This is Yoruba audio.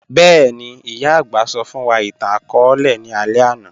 Bẹẹni, iyà agbà sọ fun wa itan-akọọlẹ ni alẹ ana.